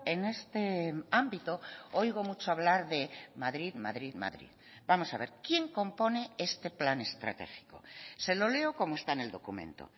en este ámbito oigo mucho hablar de madrid madrid madrid vamos a ver quién compone este plan estratégico se lo leo como está en el documento